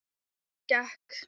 Þá gekk